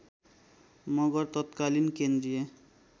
मगर तत्कालीन केन्द्रीय